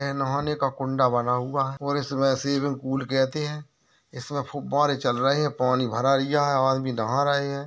इनमे लोहे का कुंडा बना हुआ है और इसे स्विमिंग पुल कहते है। इसमें फुब्बरे चल रहे है। पानी भरा रिया है आदमी नहा रहे है।